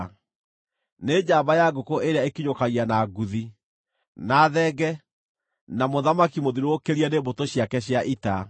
nĩ njamba ya ngũkũ ĩrĩa ĩkinyũkagia na nguthi, na thenge, na mũthamaki mũthiũrũrũkĩrie nĩ mbũtũ ciake cia ita.